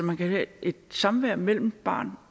man kan have et samvær mellem barn